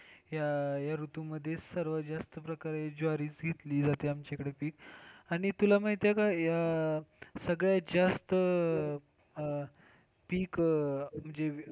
ह्या ऋतू मध्ये सर्वात जास्त प्रकारे ज्वारीचं घेतली जाते आमच्या इकडं बी आणि तुला माहितीये या सगळ्यात जास्त पीक,